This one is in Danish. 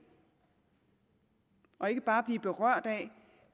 og ikke bare blive berørt af